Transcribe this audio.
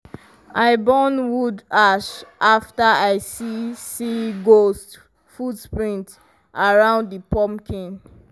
i burn wood ash after i see see ghost footprints around di pumpkin.